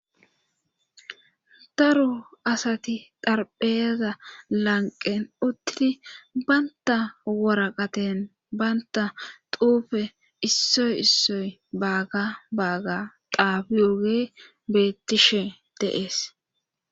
daro asati xarpheeza lanqen uttidi banta woraqaten banta xuufe issoy issoy baaga baaga xafiogey beettishe de'ees